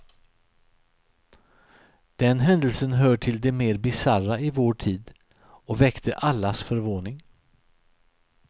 Den händelsen hör till de mer bisarra i vår tid och väckte allas förvåning.